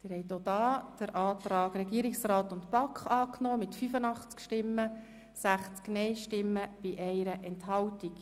Sie haben auch hier den Antrag Regierungsrat/BaK angenommen, mit 85 Ja-Stimmen, 60 Nein-Stimmen und 1 Enthaltung.